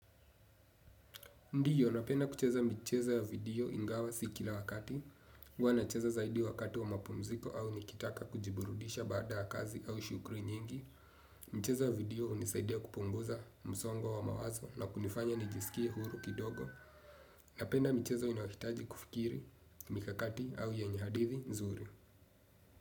Ndio napenda kucheza michezo ya video ingawa si kila wakati. Huwa nacheza zaidi wakati wa mapumziko au nikitaka kujiburudisha baada ya kazi au shughuli nyingi. Mchezo wa video unisaidia kupunguza msongo wa mawazo na kunifanya nijisikie huru kidogo. Napenda michezo inayohitaji kufikiri mikakati au yenye hadithi nzuri.